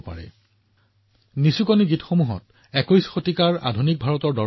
এই ওমলা গীতবোৰে আধুনিক ভাৰতক বুজায় যি হৈছে একবিংশ শতিকাৰ ভাৰতৰ সপোনৰ এক দৰ্শন